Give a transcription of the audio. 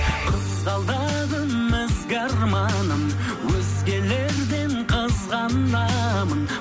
қызғалдағым ізгі арманым өзгелерден қызғанамын